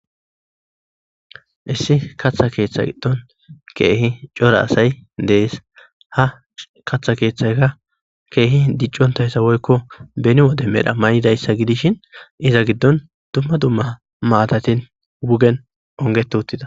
issi kaththa keeththa giddon keehi cora asay dees ha kaththa keeththayka keehi diccontayssawoykko beni wode medha may7idayssa gidishin iza giddon dumma dumma maatatin wugen onget uttida